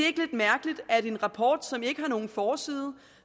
mærkeligt at en rapport som ikke har nogen forside